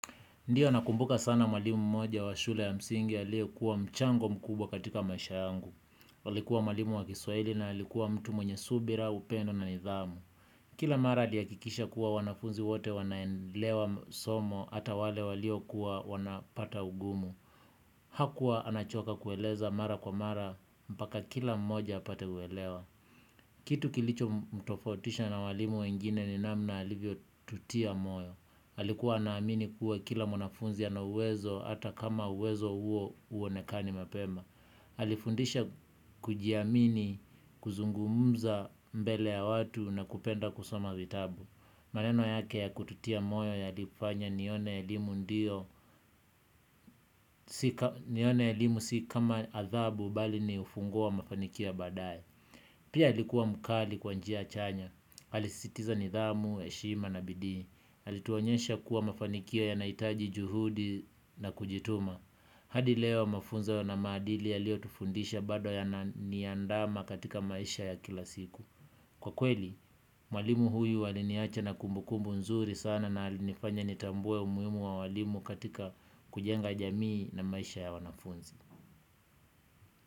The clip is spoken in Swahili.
Ndiyo nakumbuka sana mwalimu mmoja wa shule ya msingi aliyekuwa mchango mkubwa katika maisha yangu. Alikuwa mwalimu wa kiswahili na alikuwa mtu mwenye subira upendo na nidhamu. Kila mara aliakikisha kuwa wanafunzi wote wanaenlewa msomo ata wale waliokuwa wanapata ugumu. Hakua anachoka kueleza mara kwa mara mpaka kila mmoja apate uelewa. Kitu kilicho mtofautisha na walimu wengine ni namna alivyotutia moyo. Alikua anaamini kuwa kila mwanafunzi ana uwezo ata kama uwezo huo uonekani mapema alifundisha kujiamini kuzungumza mbele ya watu na kupenda kusoma vitabu. Maneno yake ya kututia moyo yalifanya nione elimu ndio. Nione elimu si kama athabu bali ni ufunguo wa mafanikio ya baadae. Pia alikuwa mkali kwa njia chanya alisisitiza nidhamu, heshima na bidii alituonyesha kuwa mafanikio yanaitaji juhudi na kujituma. Hadi leo mafunzo ya na maadili aliotufundisha bado yananiandama katika maisha ya kila siku. Kwa kweli, mwalimu huyu aliniacha na kumbukumbu nzuri sana na alinifanya nitambue umuimu wa walimu katika kujenga jamii na maisha ya wanafunzi.